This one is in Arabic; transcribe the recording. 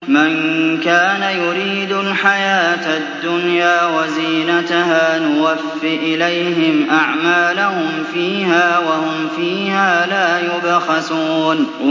مَن كَانَ يُرِيدُ الْحَيَاةَ الدُّنْيَا وَزِينَتَهَا نُوَفِّ إِلَيْهِمْ أَعْمَالَهُمْ فِيهَا وَهُمْ فِيهَا لَا يُبْخَسُونَ